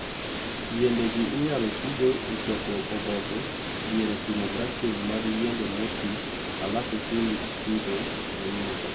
yiende gi inyalo tiigo e choko oboke diere timo grafting mag yiende motii alafu itim pitho manyien.